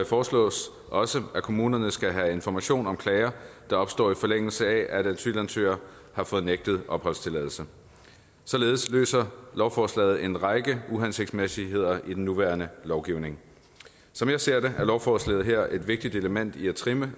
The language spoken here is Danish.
foreslås også at kommunerne skal have information om klager der opstår i forlængelse af at asylansøgere har fået nægtet opholdstilladelse således løser lovforslaget en række uhensigtsmæssigheder i den nuværende lovgivning som jeg ser det er lovforslaget her et vigtigt element i at trimme